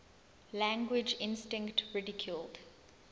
language instinct ridiculed